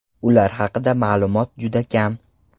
Ular haqida ma’lumot juda kam.